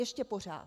Ještě pořád.